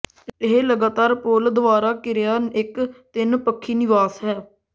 ਇਹ ਲਗਾਤਾਰ ਪੂਲ ਦੁਆਰਾ ਘਿਰਿਆ ਇੱਕ ਤਿੰਨ ਪੱਖੀ ਨਿਵਾਸ ਹੈ